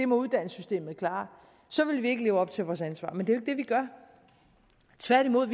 uddannelsessystemet klare så ville vi ikke leve op til vores ansvar men det er vi gør tværtimod